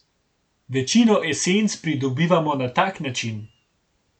Večino esenc pridobivamo na tak način.